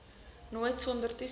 nooit sonder toesig